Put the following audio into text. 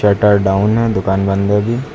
Shutter down है दुकान बंद है अभी।